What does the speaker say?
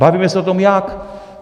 Bavíme se o tom jak.